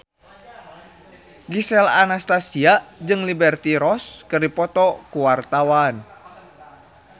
Gisel Anastasia jeung Liberty Ross keur dipoto ku wartawan